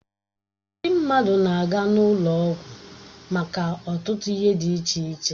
Ndị mmadụ na-aga n'ụlọ ọgwụ maka ọtụtụ ihe dị iche iche